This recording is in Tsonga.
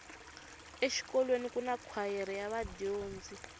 exikolweni kuna kwayere ya vadyondzi